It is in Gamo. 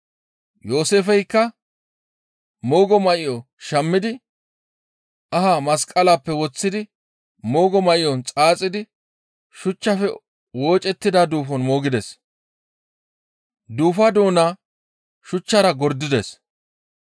Yooseefeykka moogo may7o shammidi ahaa masqaleppe woththidi moogo may7on xaaxidi shuchchafe woocettida duufon moogides. Duufaa doona shuchchara gordides.